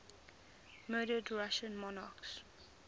murdered russian monarchs